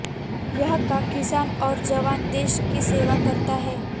यहाँ का किसान और जवान देश की सेवा करता है